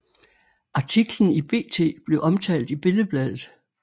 Artiklen i BT blev omtalt i Billedbladet